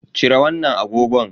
Cire wannan agogon.